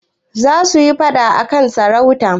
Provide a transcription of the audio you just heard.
Za su yi faɗa a kan sarauta.